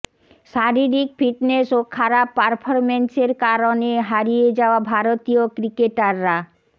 শারীরিক ফিটনেস ও খারাপ পারফরম্যান্সের কারণে হারিয়ে যাওয়া ভারতীয় ক্রিকেটাররা